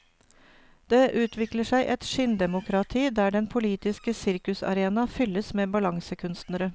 Det utvikler seg et skinndemokrati, der den politiske sirkusarena fylles med balansekunstnere.